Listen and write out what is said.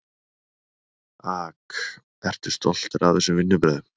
AK: Eru stoltur af þessum vinnubrögðum?